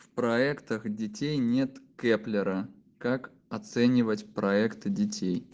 в проектах детей нет кеплера как оценивать проекты детей